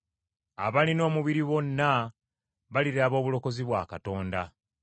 Abalina omubiri bonna baliraba obulokozi bwa Katonda.”